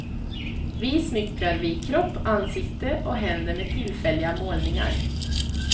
Vi smyckar vi kropp, ansikte och händer med tillfälliga målningar.